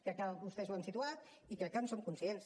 crec que vostès ho han situat i crec que en som conscients